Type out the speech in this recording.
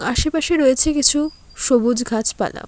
আশেপাশে রয়েছে কিছু সবুজ ঘাছপালা ।